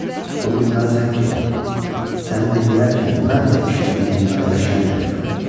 Bunu bilməlisən ki, səni dinləyərkən mən də işlədiyin cinayətə şərik oluram.